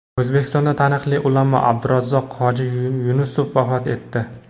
O‘zbekistonda taniqli ulamo Abdurazzoq hoji Yunusov vafot etdi.